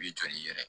B'i jɔ n'i yɛrɛ ye